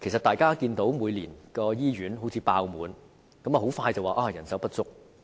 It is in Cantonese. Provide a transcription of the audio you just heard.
大家都看到，每年醫院都"爆滿"，然後很快便說人手不足。